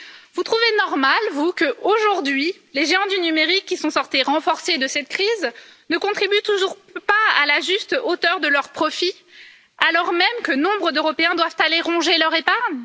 Vous trouvez normal, vous, qu'aujourd'hui, les géants du numérique, qui sont sortis renforcés de cette crise, ne contribuent toujours pas à la juste hauteur de leurs profits alors même que nombre d'Européens doivent aller ronger leur épargne?